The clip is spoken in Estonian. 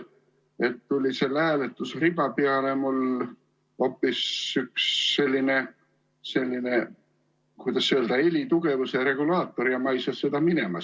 Hääletusriba peale tuli mul hoopis üks, kuidas öelda, helitugevuse regulaator ja ma ei saa seda sealt minema.